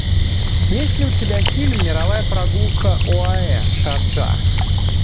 есть ли у тебя фильм мировая прогулка оаэ шарджа